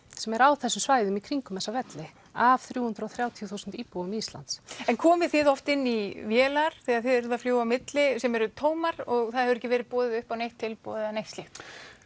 sem eru á þessum svæðum í kringum þessa velli af þrjú hundruð og þrjátíu þúsund íbúum Íslands en komið þið oft inn í vélar þegar þið eruð að fljúga á milli sem eru tómar og það hefur ekki verið boðið upp á neitt tilboð eða neitt slíkt